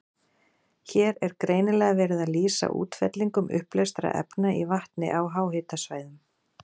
Hér er greinilega verið að lýsa útfellingum uppleystra efna í vatni á háhitasvæðum.